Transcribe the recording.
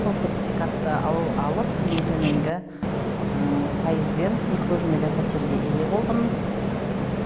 сол сертификатты ал алып ең төменгі пайызбен екі бөлмелі пәтерге ие болдым